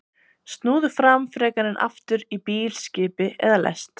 Snúðu fram frekar en aftur í bíl, skipi eða lest.